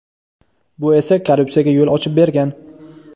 Bu esa korrupsiyaga yo‘l ochib bergan.